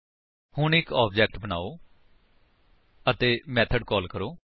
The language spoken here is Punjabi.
ਹੁਣ ਇੱਕ ਆਬਜੇਕਟ ਬਨਾਓ ਅਤੇ ਮੇਥਡ ਕਾਲ ਕਰੋ